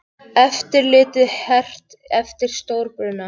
Eftirlitið hert eftir stórbruna